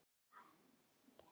Feginn að enginn er heima.